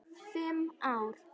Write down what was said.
Fimm ár?